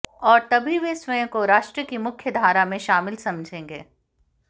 और तभी वे स्वयं को राष्ट्र की मुख्यधारा में शामिल समझेंगे